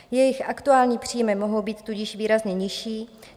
Jejich aktuální příjmy mohou být tudíž výrazně nižší.